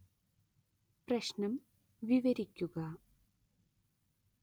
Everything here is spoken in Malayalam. പ്രശ്നം വിവരിക്കുക